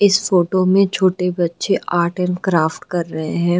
इस फोटो में छोटे बच्चे आर्ट एंड क्राफ्ट कर रहे हैं।